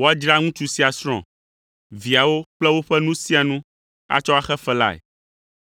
woadzra ŋutsu sia srɔ̃, viawo kple woƒe nu sia nu atsɔ axe fe lae.